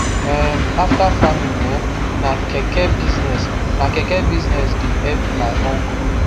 um after farming um na keke business na keke business the help my uncle